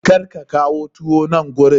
Kar ka kawo tuwo nan gurin!